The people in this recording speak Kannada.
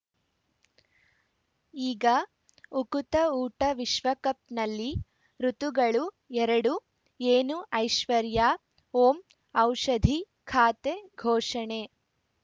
ಈಗ ಉಕುತ ಊಟ ವಿಶ್ವಕಪ್‌ನಲ್ಲಿ ಋತುಗಳು ಎರಡು ಏನು ಐಶ್ವರ್ಯಾ ಓಂ ಔಷಧಿ ಖಾತೆ ಘೋಷಣೆ